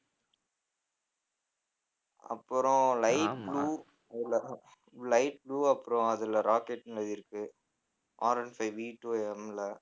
அப்புறம் light blue light blue அப்புறம் அதுல rocket மாதிரி இருக்கு. Rone fiveVtwoM ல